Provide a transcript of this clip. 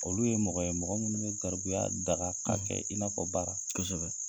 Olu ye mɔgɔ ye mɔgɔ minnu be garibuya daga k'a kɛ i n'afɔ baara. Kosɛbɛ.